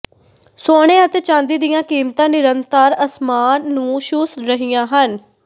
ਸੋਨੇ ਅਤੇ ਚਾਂਦੀ ਦੀਆਂ ਕੀਮਤਾਂ ਨਿਰੰਤਰ ਅਸਮਾਨ ਨੂੰ ਛੂਹ ਰਹੀਆਂ ਹਨ